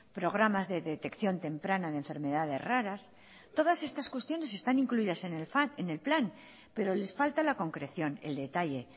programas de detección temprana de enfermedades raras todas estas cuestiones están incluidas en el plan pero les falta la concreción el detalle